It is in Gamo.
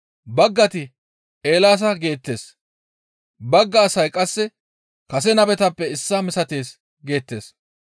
Baggayti, «Eelaasa» geettes; bagga asay qasse, «Kase nabetappe issaa misatees» geettes.